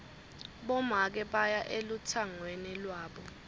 bomake baya elutsangweni lwabo